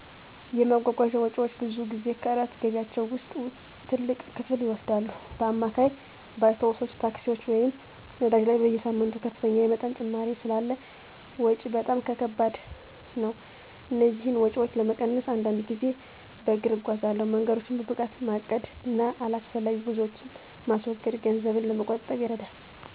የማጓጓዣ ወጪዎች ብዙ ጊዜ ከእለት ገቢያቸው ውስጥ ትልቅ ክፍል ይወስዳሉ. በአማካይ፣ በአውቶቡሶች፣ ታክሲዎች ወይም ነዳጅ ላይ በየሳምንቱ ከፍተኛ የመጠን ጭማሪ ስላለ ወጭ በጣም ከከባድ ነው። እነዚህን ወጪዎች ለመቀነስ አንዳንድ ጊዜ በእግእጎዛለሁ። መንገዶችን በብቃት ማቀድ እና አላስፈላጊ ጉዞዎችን ማስወገድ ገንዘብን ለመቆጠብ ይረዳል።